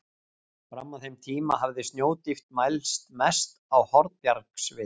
Fram að þeim tíma hafði snjódýpt mælst mest á Hornbjargsvita.